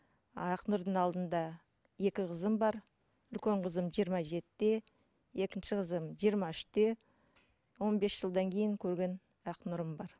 ақнұрдың алдында екі қызым бар үлкен қызым жиырма жетіде екінші қызым жиырма үште он бес жылдан кейін көрген ақнұрым бар